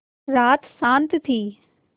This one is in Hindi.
रात शान्त थी